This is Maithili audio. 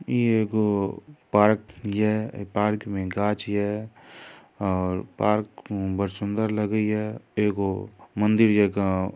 इ एगो पार्क ये ऐय पार्क में गाछ ये और पार्क बढ़ सुंदर लगे ये एगो मंदिर जका--